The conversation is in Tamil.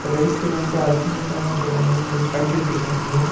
ரைட் சைடுல வந்துட்டு அரிசி மூட்டலா ட வந் அடுக்கி வச்சுருக்காங்க.